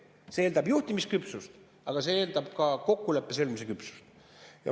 See eeldab juhtimisküpsust, aga see eeldab ka kokkuleppe sõlmimise küpsust.